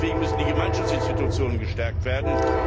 Deswegen müssen die Gemeinschaftsinstitutionen gestärkt werden.